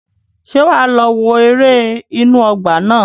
Ṣé wà á lọ wo ère inú ọgbà náà?